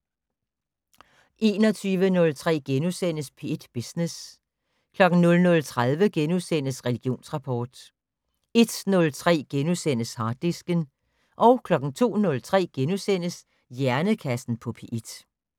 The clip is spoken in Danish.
21:03: P1 Business * 00:30: Religionsrapport * 01:03: Harddisken * 02:03: Hjernekassen på P1 *